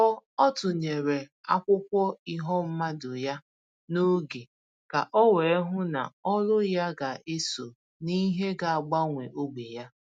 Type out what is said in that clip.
Ọ Ọ tụnyere akwụkwọ iho mmadụ ya n'oge ka o wee hụ ná olu ya ga eso n'ìhè ga agbanwe ógbè ya.